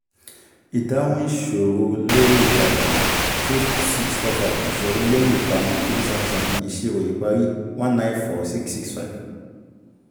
ìdáhùn ìṣòro lórí ìtàjà two six four five ìṣòro lórí ìparun three seven seven ìṣirò ìparí one nine four six six five